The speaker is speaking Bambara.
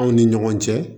Aw ni ɲɔgɔn cɛ